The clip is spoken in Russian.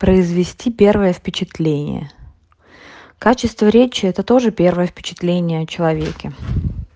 произвести первое впечатление качество речи это тоже первое впечатление о человеке